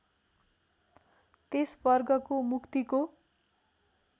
त्यस वर्गको मुक्तिको